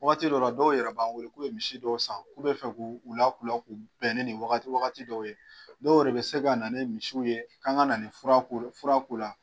Wagati dɔ yɛrɛ la dɔw yɛrɛ b'an weele k'u ye misi dɔw san, k'u bɛ fɛ k'u u lakulɔ k'u bɛn ni nin wagati wagati dɔw ye, dɔw yɛrɛ bi se ka na ni misiw ye, kan ka na fura k'u la.